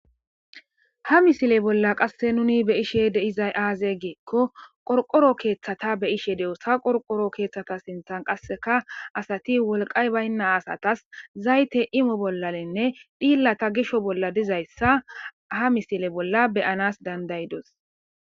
Ha misile bolla qasse nuni be ishe deizay aaze geekko qorqoro keeththata be ishe dewossa qorqoro keeththata sinthan qasseka asati wolqay baynna asatas zayte imo bollalenne dhillata gisho bolla dizayssa ha misile bolla beyanas dandaydos.